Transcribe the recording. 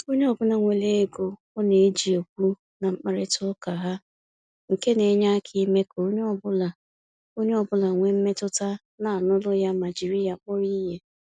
Onye ọbụla nwere oge ọ na-eji ekwu na-mkparịta uka ha, nke na enye aka ime ka onye ọ bụla onye ọ bụla wee mmetụta na anuru ya ma jiri ya kpọrọ ihe